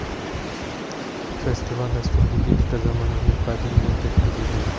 Festival dasturiga yettita zamonaviy badiiy lenta kiritilgan.